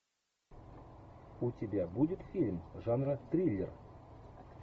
у тебя будет фильм жанра триллер